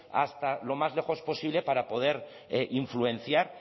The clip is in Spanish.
hasta lo más lejos posible para poder influenciar